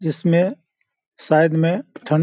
जिसमें शायद में ठंड --